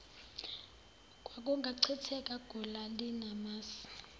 kwakungachitheka gula linamasi